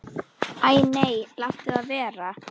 Æ nei, láttu það vera.